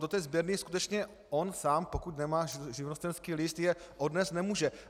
Do té sběrny skutečně on sám, pokud nemá živnostenský list, je odnést nemůže.